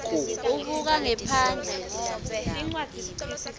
ubuka ngephandle ngobe